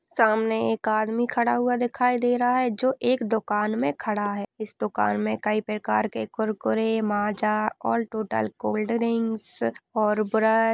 सामने एक आदमी खड़ा हुआ दिखाई दे रहा है जो एक दुकान मे खड़ा है इस दुकान मे कही प्रकार के कुरकुर माजा और टोटल कोल्ड ड्रिंक्स और ब्रश--